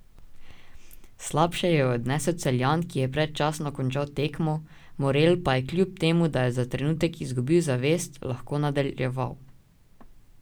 Slabše jo je odnesel Celjan, ki je predčasno končal tekmo, Morel pa je kljub temu, da je za trenutek izgubil zavest, lahko nadaljeval.